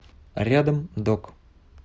рядом док